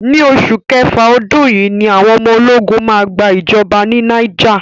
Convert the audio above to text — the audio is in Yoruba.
Ni oṣù kẹfà ọdún yìí ni àwọn ológun máa gba ìjọba ní Niger.